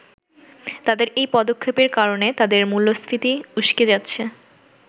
তাদের এই পদক্ষেপের কারণে তাদের মূল্যস্ফীতি উস্কে যাচ্ছে।